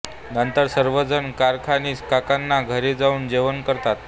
नंतर सर्वजण कारखानीस काकांच्या घरी जाऊन जेवण करतात